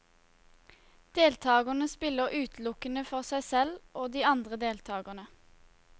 Deltagerne spiller utelukkende for seg selv og de andre deltagerne.